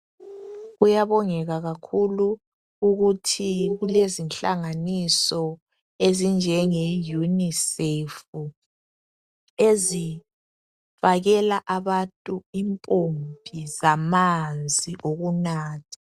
Kuyabongeka kakhulu ukuthi kulezinhlanganiso ezinjengeUNICEF ezifakela abantu impompi zamanzi okunatha.